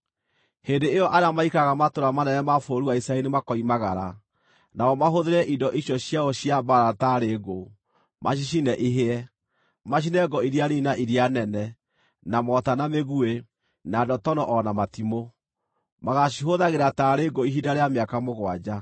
“ ‘Hĩndĩ ĩyo arĩa maikaraga matũũra manene ma bũrũri wa Isiraeli nĩmakoimagara, nao mahũthĩre indo icio ciao cia mbaara taarĩ ngũ, macicine ihĩe, macine ngo iria nini na iria nene, na mota na mĩguĩ, na ndotono o na matimũ. Magaacihũthagĩra taarĩ ngũ ihinda rĩa mĩaka mũgwanja.